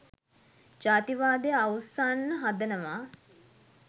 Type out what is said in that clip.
ජාතිවාදය අවුස්සන්න හදනවා.